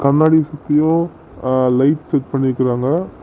முன்னாடி ஃபுல்லும் light set பண்ணிருக்காங்க.